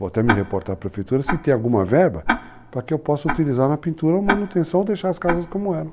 Vou até me reportar para a prefeitura, se tem alguma verba, para que eu possa utilizar na pintura ou manutenção, ou deixar as casas como eram.